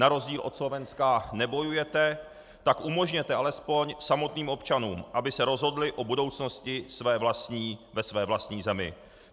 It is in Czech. Na rozdíl od Slovenska nebojujete, tak umožněte alespoň samotným občanům, aby se rozhodli o budoucnosti ve své vlastní zemi.